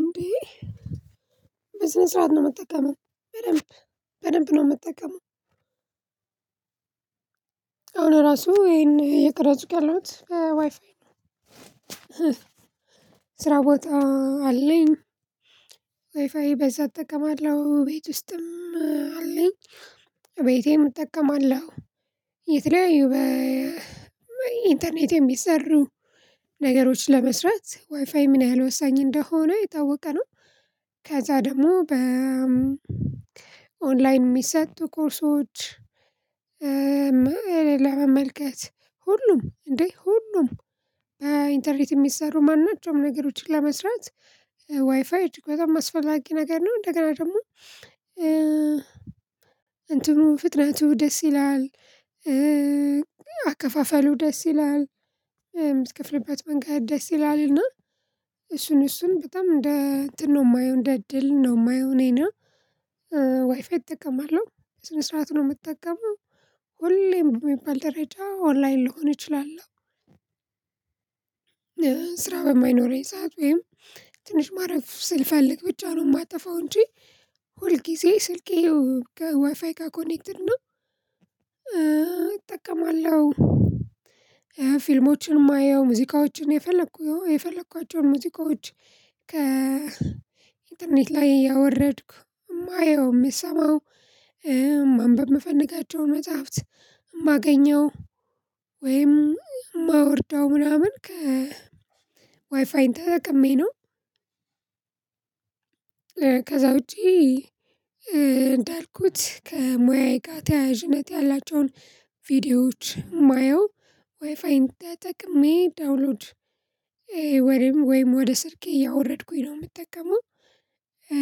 እንዴ። በስነ ስርዓት ነው ምጠቀመው በደንብ በደንብ ነው ምጠቀመው። አሁን ራሱ ይሄን የቀረፅኩ ያለውት ዋይፋይ ነው። ስራ ቦታ አለኝ። ዋይፋይ በዛ እጠቀማለሁ ቤት ውስጥም አለኝ። ቤቴም እጠቀማለሁ። የተለያዩ በኢንተርኔት የሚሰሩ ነገሮች ለመስራት ዋይፋይ ምን ያህል ወሳኝ እንደሆነ የታወቀ ነው። ከዛ ደግሞ በ በኦንላይን ሚሰጡ ኮርሶች። እ ለመመልከት ሁሉም እንዴ ሁሉም በኢንተርኔት የሚሰሩ ማናቸውም ነገሮችን ለመስራት ዋይፋይ እጅግ በጣም አስፈላጊ ነገር ነው። እንደገና ደግሞ። እ እንትኑ ፍጥነቱ ደስ ይላል እ። አከፋፈሉ ደስ ይላል እ ምትከፍልበት መንገድ ደስ ይላልና። እሱን እሱን በጣም እንደ እንትን ነው ማየው እንደ እድል ነው ማየው እኔና። ዋይፋይ እጠቀማለሁ በስነ ስርዓቱ ነው ምጠቀመው። ሁሌም በሚባል ደረጃ ኦንላይን ልሆን እችላልለው። ስራ በማይኖረኝ ሰዓት ወይም ትንሽ ማረፍ ስል ፈልግ ብቻ ነው ማጠፋው እንጂ። ሁል ጊዜ ስልኬ ከዋይፋይ ጋር ኮኔክትድ ነው። እ እጠቀማለሁ። ፊልሞችን ማየው ሙዚቃዎችን የፈለኩ የፈለኳቸውን ሙዚቃዎች ከ ኢንተርኔት ላይ እያወረድኩ እማየው እምሰማው ማንበብ ምፈልጋቸውን መጽሐፍት ማገኘው ወይም ማወርደው ምናምን ከ ዋይፋይን ተጠቅሜ ነው። ከዛ ውጪ እ እንዳልኩት ከሙያዬ ጋር ተያያዥነት ያላቸዉን ቪዲዮዎች ማየው ዋይፋይን ተጠቅሜ ዳውንሎድ እ ወይም ወይም ወደ ስልኬ እያወረድኩኝ ነው የምጠቀመው። እ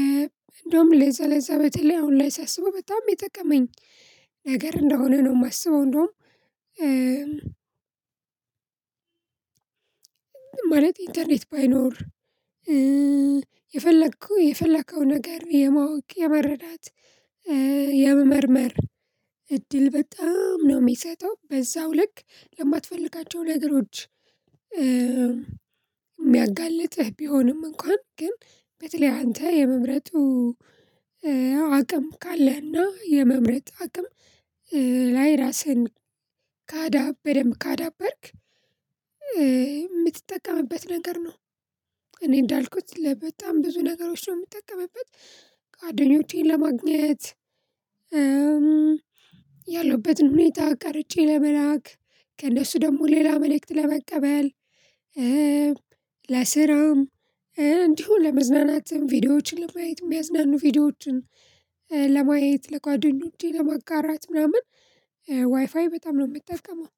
እንደውም ለዛ ለዛ በተለይ አሁን ላይ ሳስበው በጣም የጠቀመኝ ነገር እንደሆነ ነው የማስበው። እንደውም እ። ማለት ኢንተርኔት ባይኖር እ የፈለከው የፈለከው ነገር የማወቅ የመረዳት የመመርመር እድል በጣም ነው ሚሰጠው በዛው ልክ ለማትፈልጋቸው ነገሮች። እ ሚያጋልጥህ ቢሆንም እንኳን ግን። በተለይ አንተ የመምረጡ አቅም ካለህና የመምረጥ አቅም ላይ ራስህን ካዳበረም በደንብ ካዳበርክ። ምትጠቀምበት ነገር ነው። እኔ እንዳልኩት ለበጣም ብዙ ነገሮች ነው ምጠቀምበት። ጓደኞቼን ለማግኘት። ያለሁበትን ሁኔታ ቀርጬ ለመላክ ከእነሱ ደግሞ ሌላ መልእክት ለመቀበል። ለስራም እንዲሁ ለመዝናናትም ቪዲዮዎችን ለማየት ሚያዝናኑ ቪዲዮዎችን ለማየት ለጓደኞቼ ለማጋራት ምናምን። ዋይፋይ በጣም ነው ምጠቀመው